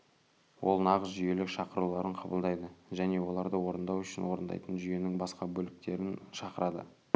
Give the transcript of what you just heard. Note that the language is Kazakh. ол нағыз жүйелік шақыруларын қабылдайды және оларды орындау үшін орындайтын жүйенің басқа бөліктерін шақырады